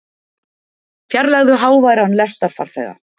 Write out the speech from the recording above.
Fjarlægðu háværan lestarfarþega